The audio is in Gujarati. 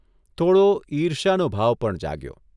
થોડો ઇર્ષ્યાનો ભાવ પણ જાગ્યો.